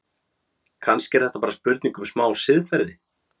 Kannski er þetta bara spurning um smá siðferði?